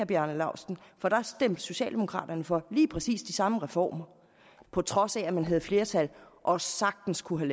bjarne laustsen for der stemte socialdemokraterne for lige præcis de samme reformer på trods af at man havde flertal og sagtens kunne